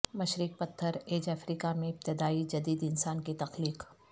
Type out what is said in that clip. مشرق پتھر ایج افریقہ میں ابتدائی جدید انسان کی تخلیق